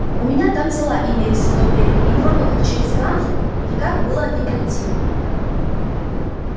у меня там дела имелись в то время и кроме как через ганзу никак было не пройти